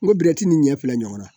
N ko ni ɲɛ fila ɲɔgɔnna